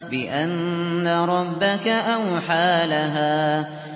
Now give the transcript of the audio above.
بِأَنَّ رَبَّكَ أَوْحَىٰ لَهَا